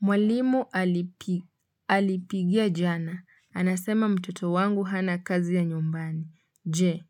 Mwalimu alipigia jana. Anasema mtoto wangu hana kazi ya nyumbani. Je,